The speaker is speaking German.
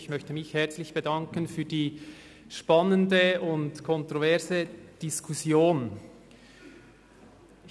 Ich möchte mich herzlich für die spannende und kontroverse Diskussion bedanken.